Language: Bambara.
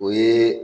O ye